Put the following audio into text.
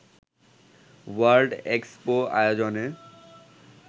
world expo আয়োজনে